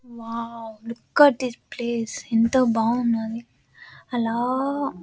Wow look at this place ఎంతో బాగున్నది. ఆలా--